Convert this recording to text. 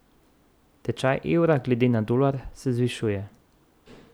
Tečaj evra glede na dolar se zvišuje.